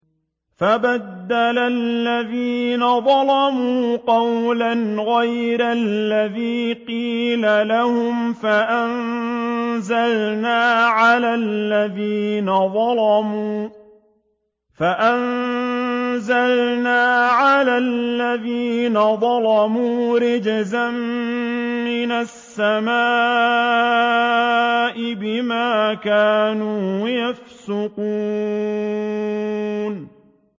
فَبَدَّلَ الَّذِينَ ظَلَمُوا قَوْلًا غَيْرَ الَّذِي قِيلَ لَهُمْ فَأَنزَلْنَا عَلَى الَّذِينَ ظَلَمُوا رِجْزًا مِّنَ السَّمَاءِ بِمَا كَانُوا يَفْسُقُونَ